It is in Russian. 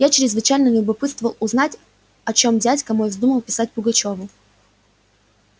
я чрезвычайно любопытствовал узнать о чём дядька мой вздумал писать пугачёву